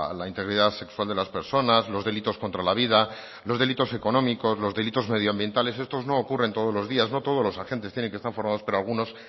la integridad sexual de las personas los delitos contra la vida los delitos económicos los delitos medioambientales estos no ocurren todos los días no todos los agentes tienen que estar formados pero algunos